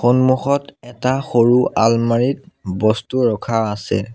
সন্মুখত এটা সৰু আলমাৰিত বস্তু ৰখা আছে।